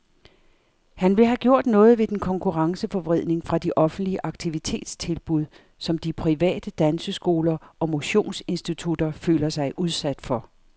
Han vil have gjort noget ved den konkurrenceforvridning fra de offentlige aktivitetstilbud, som de private danseskoler og motionsinstitutter føler sig udsat for.